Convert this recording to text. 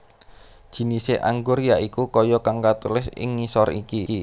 Jinise anggur ya iku kaya kang katulis ing ngisor iki